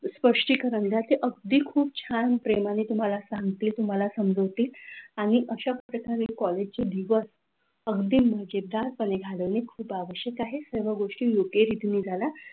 स्पष्टीकरण द्या ते अगदी खूप छान प्रेमाने सांगतील तुम्हाला समजतील आणि अशाप्रकारे कॉलेजचे दिवस अगदी मजेदारपणे घालवणे आवश्यक आहे. सर्व गोष्टी मुख्य रीतीने झालं,